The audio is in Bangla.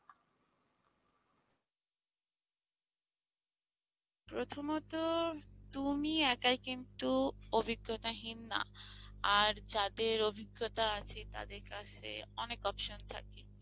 প্রথমত তুমি একাই কিন্তু অভিজ্ঞতাহীন না আর যাদের অভিজ্ঞতা আছে তাদের কাছে অনেক option থাকে।